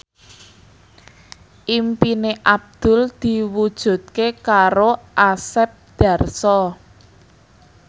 impine Abdul diwujudke karo Asep Darso